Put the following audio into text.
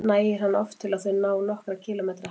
Nægir hann oft til að þau ná nokkurra kílómetra hæð.